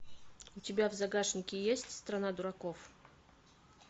у тебя в загашнике есть страна дураков